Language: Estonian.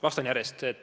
Vastan järjekorras.